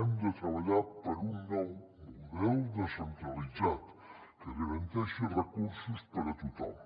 hem de treballar per un nou model descentralitzat que garanteixi recursos per a tothom